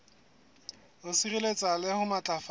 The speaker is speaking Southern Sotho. ho sireletsa le ho matlafatsa